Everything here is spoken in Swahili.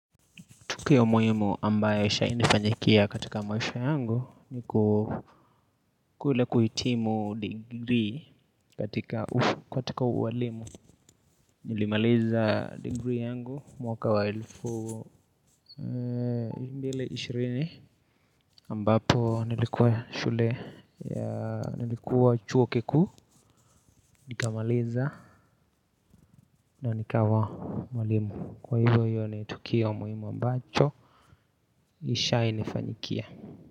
Tukio muhimu ambayo ishawahi nifanyikia katika maisha yangu ni kule kuhitimu degree katika ukatika uwalimu. Nilimaliza degree yangu mwaka wa elfu mbili ishirini ambapo nilikuwa nilikuwa chuo kikuu nikamaliza na nikawa mwalimu. Kwa hivyo hio ni tukio muhimu ambacho isha nifanyikia.